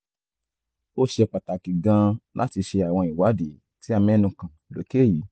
ó ṣe pàtàkì gan-an láti ṣe àwọn ìwádìí tí a mẹ́nu kàn lókè yìí